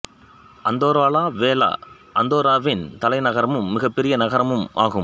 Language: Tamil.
அந்தோரா லா வேலா அந்தோராவின் தலைநகரமும் மிகப்பெரிய நகரமும் ஆகும்